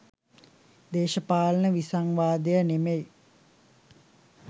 දේශපාලන විසංවාදය නෙමෙයි